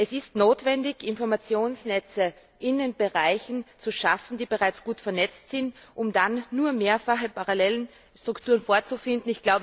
Es ist nicht notwendig, Informationsnetze in den Bereichen zu schaffen, die bereits gut vernetzt sind, um dann nur mehrfache parallele Strukturen vorzufinden.